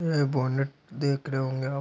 यह बोनेट देख रहे होंगे आप --